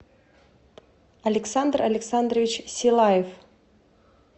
александр александрович силаев